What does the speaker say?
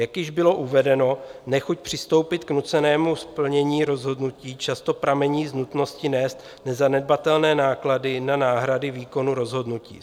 Jak již bylo uvedeno, nechuť přistoupit k nucenému splnění rozhodnutí často pramení z nutnosti nést nezanedbatelné náklady na náhrady výkonu rozhodnutí.